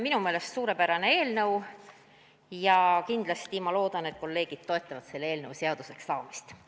Minu meelest suurepärane eelnõu ja kindlasti ma loodan, et kolleegid toetavad selle eelnõu seaduseks saamist.